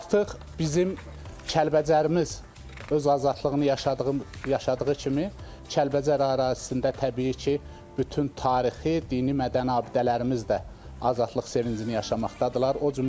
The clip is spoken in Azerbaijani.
Artıq bizim Kəlbəcərimiz öz azadlığını yaşadığı, yaşadığı kimi, Kəlbəcər ərazisində təbii ki, bütün tarixi, dini, mədəni abidələrimiz də azadlıq sevincini yaşamaqdadırlar.